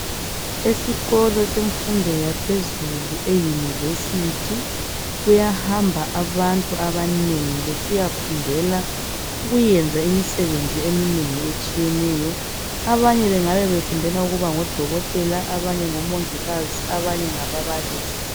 Esikolo semfundo yaphezulu e university kuyahamba abantu abanengi besiyafundela ukwenza imisebenzi eminengi etshiyeneyo abanye bengabe befundela ukuba ngodokotela abanye ukuba ngomongikazi abanye ngababalisi